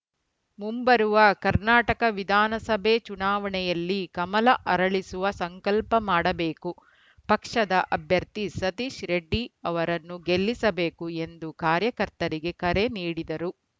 ಮುಂಬರುವ ಕರ್ನಾಟಕ ವಿಧಾನಸಭೆ ಚುನಾವಣೆಯಲ್ಲಿ ಕಮಲ ಅರಳಿಸುವ ಸಂಕಲ್ಪ ಮಾಡಬೇಕು ಪಕ್ಷದ ಅಭ್ಯರ್ಥಿ ಸತೀಶ್‌ ರೆಡ್ಡಿ ಅವರನ್ನು ಗೆಲ್ಲಿಸಬೇಕು ಎಂದು ಕಾರ್ಯಕರ್ತರಿಗೆ ಕರೆ ನೀಡಿದರು